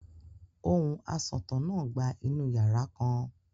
Ohùn asọ̀tàn náà gba inú yàrá kan.